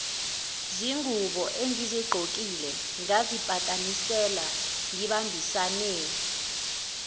zinguboengizigqokile ngazipatanisela ngibambisane